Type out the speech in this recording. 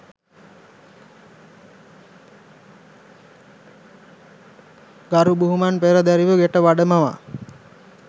ගරු බුහුමන් පෙරදැරිව ගෙට වඩමවා